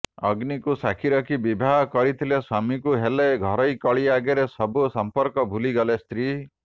ଅଗ୍ନିକୁ ସାକ୍ଷୀ ରଖି ବିବାହ କରିଥିଲେ ସ୍ବାମୀକୁ ହେଲେ ଘରୋଇ କଳି ଆଗରେ ସବୁ ସଂପର୍କ ଭୁଲିଗଲେ ସ୍ତ୍ରୀ